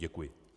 Děkuji.